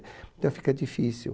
Então, fica difícil.